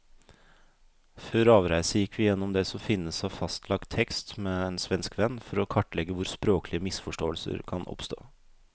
Før avreise gikk vi gjennom det som finnes av fastlagt tekst med en svensk venn, for å kartlegge hvor språklige misforståelser kan oppstå.